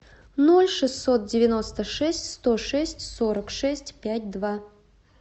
ноль шестьсот девяносто шесть сто шесть сорок шесть пять два